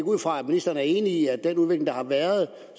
ud fra at ministeren er enig i at den udvikling der har været